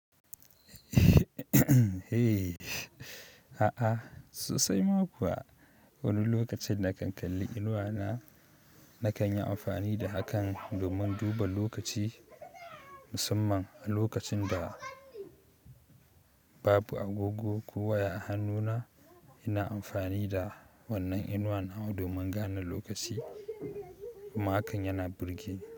A'a sosai ma kuwa, wani lokacin da kan kalli inuwa na nakan yi amfani da hakan domin duba lokaci. Musamman a lokacin da babu gogo ko waya a hannu na ina amfani da wannan inuwa nawa domin gane lokaci. Kuma hakan yana burge ni.